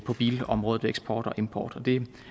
bilområdet ved eksport og import det